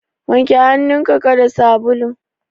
Wanke hannun ka da sabulun.